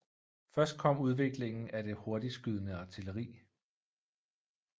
Først kom udviklingen af det hurtigtskydende artilleri